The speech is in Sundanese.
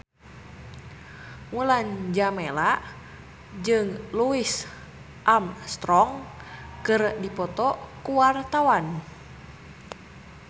Mulan Jameela jeung Louis Armstrong keur dipoto ku wartawan